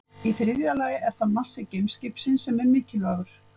Í þriðja lagi er það massi geimskipsins sem er mikilvægur.